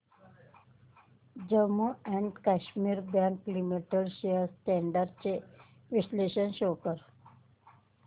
Jammu and Kashmir bank limited shares trends चे विश्लेषण show कर